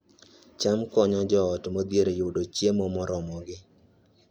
cham konyo joot modhier yudo chiemo moromogi